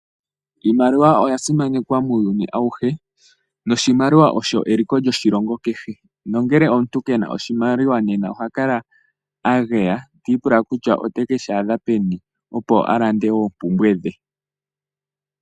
Iimaliwa oya simanekwa muyuuni awuhe. Noshimaliwa osho eliko lyoshilongo kehe. Nongele omuntu kena oshimaliwa oha kala a geya ti ipula kutya ote keshi adha peni. Opo a lande oompumbwe dhe.